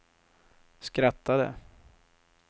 skrattade